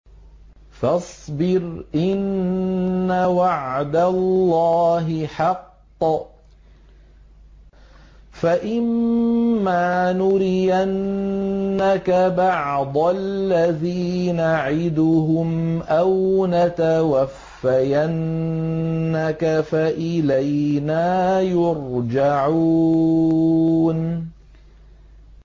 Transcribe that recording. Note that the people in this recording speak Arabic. فَاصْبِرْ إِنَّ وَعْدَ اللَّهِ حَقٌّ ۚ فَإِمَّا نُرِيَنَّكَ بَعْضَ الَّذِي نَعِدُهُمْ أَوْ نَتَوَفَّيَنَّكَ فَإِلَيْنَا يُرْجَعُونَ